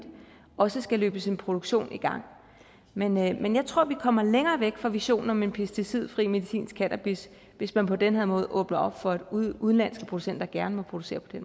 også skal løbes en produktion i gang men jeg men jeg tror at vi kommer længere væk fra visionen om en pesticidfri medicinsk cannabis hvis man på den her måde åbner op for at udenlandske producenter gerne må producere på den